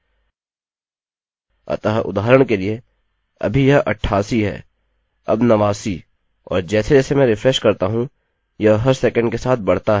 अतः उदाहरण के लिए अभी यह 88 है अब 89 और जैसेजैसे मैं रिफ्रेश करता हूँ यह हर सेकण्ड के साथ बढ़ता है